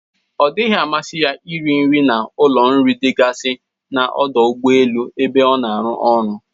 Ọ dịghi amasị ya iri nri na ụlọ nri dịgasi na ọdụ ụgbọelu ebe o na-aru ọrụ.